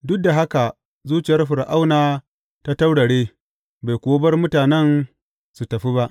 Duk da haka zuciyar Fir’auna ta taurare, bai kuwa bar mutanen su tafi ba.